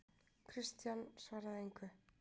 Christian svaraði engu.